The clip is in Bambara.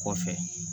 Kɔfɛ